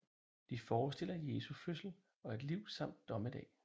De forestiller Jesu fødsel og liv samt Dommedag